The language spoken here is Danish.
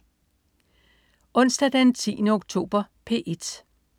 Onsdag den 10. oktober - P1: